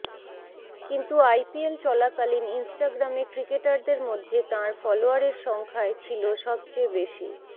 কিন্তু আইপিএল চলাকালীন ইনস্টাগ্রামে ক্রিকেটারদের মধ্যে তাঁর ফলোয়ারের সংখ্যাই ছিল সবচেয়ে বেশি